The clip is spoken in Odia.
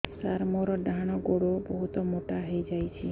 ସାର ମୋର ଡାହାଣ ଗୋଡୋ ବହୁତ ମୋଟା ହେଇଯାଇଛି